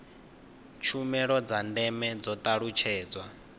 tshumelo dza ndeme dzo talutshedzwa